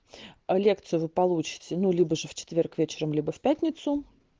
лекции вы получите ну либо же в четверг вечером либо в пятницу